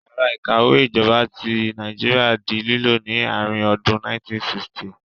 Yàrá ìkàwé ìjọba ti Nàìjíríà di lílò ní àárín ọdún 1960